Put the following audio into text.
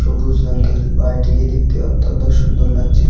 সবুজ রঙের বাড়িটিকে দেখতে অত্যন্ত সুন্দর লাগছে।